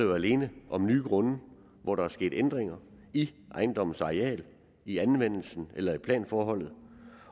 jo alene nye grunde hvor der er sket ændringer i ejendommens areal i anvendelsen eller i planforholdet